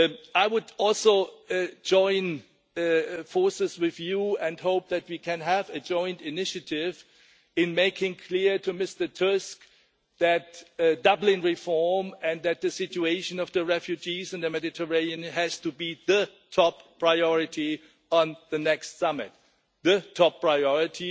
I would also join forces with you and hope that we can have a joint initiative in making clear to Mr Tusk that Dublin reform and that the situation of the refugees in the Mediterranean has to be the top priority at the next summit the top priority.